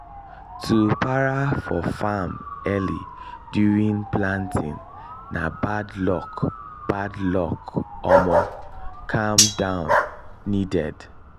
to para for farm early during planting na bad luck bad luck um calm dey needed.